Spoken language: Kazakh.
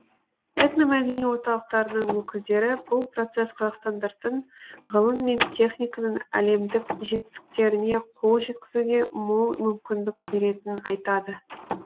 этномәдени орталықтарының өкілдері бұл процесс қазақстандықтардың ғылым мен техниканың әлемдік жетістіктеріне қол жеткізуге мол мүмкіндік беретінін айтады